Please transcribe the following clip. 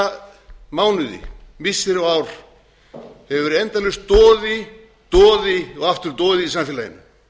undanfarna mánuði missiri og ár hefur verið endalaus doði doði og aftur doði í samfélaginu